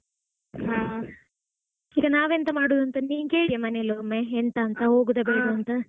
ಹಾ ಈಗ ನಾವೆಂತ ಮಾಡುದಂತ ನೀನ್ ಕೇಳಿಯ ಮನೆಯಲೊಮ್ಮೆ ಎಂತಾಂತ ಹೋಗುದ ಬೇಡ್ವಂತ.